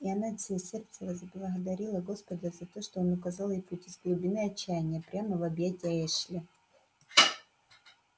и она от всего сердца возблагодарила господа за то что он указал ей путь из глубины отчаяния прямо в объятия эшли